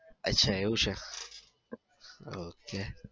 અચ્છા એવું છે. ok.